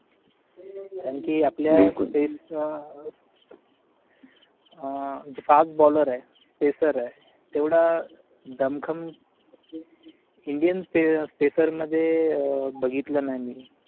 कारण कि आपल्या फेस जे fast baller आहे FACER आहे तेवढा दम खम INDIAN FACER मध्ये बघितलं नाही मी